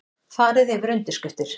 Farið yfir undirskriftir